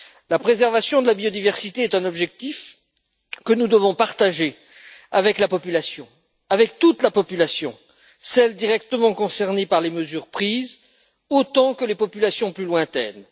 La préservation de la biodiversité est un objectif que nous devons partager avec la population, avec toute la population, celle directement concernée par les mesures prises autant que les populations plus lointaines.